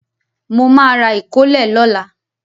Mo ma ra ìkólẹ̀ lọ́la.